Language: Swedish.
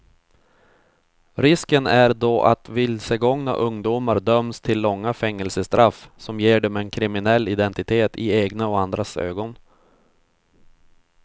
Risken är då att vilsegångna ungdomar döms till långa fängelsestraff som ger dem en kriminell identitet i egna och andras ögon.